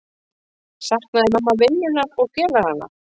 Saknaði mamma vinnunnar og félaganna?